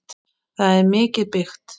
Það er mikið byggt.